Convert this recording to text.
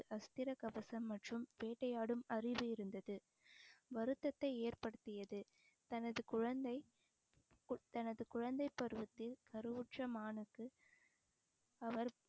அஸ்திர கவசம் மற்றும் வேட்டையாடும் அறிவு இருந்தது வருத்தத்தை ஏற்படுத்தியது தனது குழந்தை கு~ தனது குழந்தை பருவத்தில் கருவுற்ற மானுக்கு அவர்